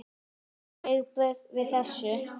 Þín viðbrögð við þessu?